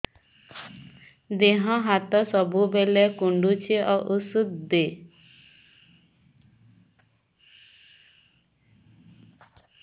ଦିହ ହାତ ସବୁବେଳେ କୁଣ୍ଡୁଚି ଉଷ୍ଧ ଦେ